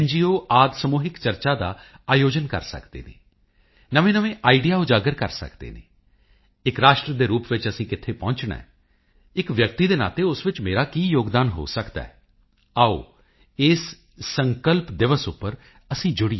ਆਦਿ ਸਮੂਹਿਕ ਚਰਚਾ ਦਾ ਆਯੋਜਨ ਕਰ ਸਕਦੇ ਹਨ ਨਵੇਂਨਵੇਂ ਆਈਡੀਆ ਉਜਾਗਰ ਕਰ ਸਕਦੇ ਹਨ ਇੱਕ ਰਾਸ਼ਟਰ ਦੇ ਰੂਪ ਵਿੱਚ ਅਸੀਂ ਕਿੱਥੇ ਪਹੁੰਚਣਾ ਹੈ ਇੱਕ ਵਿਅਕਤੀ ਦੇ ਨਾਤੇ ਉਸ ਵਿੱਚ ਮੇਰਾ ਕੀ ਯੋਗਦਾਨ ਹੋ ਸਕਦਾ ਹੈ ਆਓ ਇਸ ਸੰਕਲਪ ਦਿਵਸ ਉੱਪਰ ਅਸੀਂ ਜੁੜੀਏ